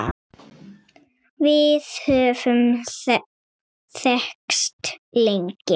Við höfum þekkst lengi